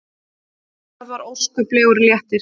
Það var óskaplegur léttir.